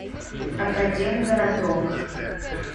академгородок